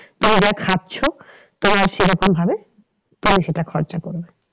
তুমি যা খাচ্ছ তোমার সেরকম ভাবে তুমি সেটা খরচ করবে।